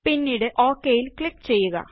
പിന്നീട് ഒക് യില് ക്ലിക് ചെയ്യുക